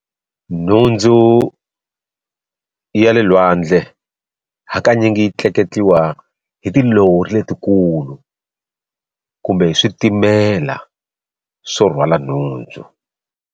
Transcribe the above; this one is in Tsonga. Nhundzu ya le lwandle hakanyingi yi tleketliwa hi tilori letikulu kumbe switimela swo rhwala nhundzu.